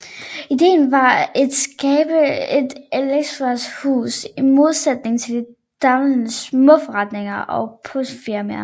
Idéen var et skabe et elekronikvarehus i modsætning til de daværende småforretninger og postordrefirmaer